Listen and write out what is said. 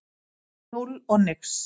Núll og nix.